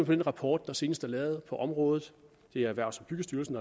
den rapport der senest er lavet på området det er erhvervs og boligstyrelsen